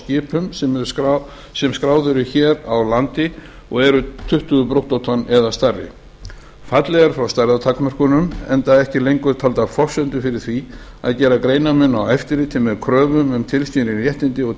skipum sem skráð eru hér á landi og eru tuttugu brúttótonn eða stærri fallið er frá stærðartakmörkunum enda ekki lengur taldar forsendur fyrir því að gera greinarmun á eftirliti með kröfum um tilskilin réttindi og